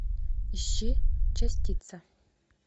ищи частица